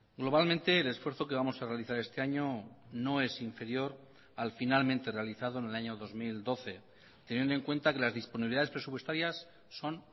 globalmente el esfuerzo que vamos a realizar este año no es inferior al finalmente realizado en el año dos mil doce teniendo en cuenta que las disponibilidades presupuestarias son